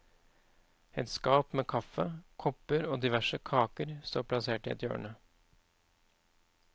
Et skap med kaffe, kopper og diverse kaker står plassert i et hjørne.